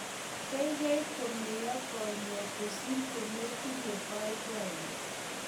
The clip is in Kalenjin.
keikei komeyo konyek kosir kumetinye boiboiyo